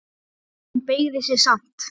En hún beygði sig samt.